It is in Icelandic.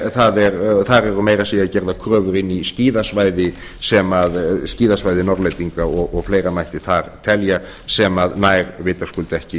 það eru meira að segja gerðar kröfur inn í skíðasvæði norðlendinga og fleira mætti þar telja sem nær vitaskuld ekki